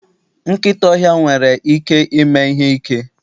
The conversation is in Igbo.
nkịta ọhịa nwere ike ime ihe ike.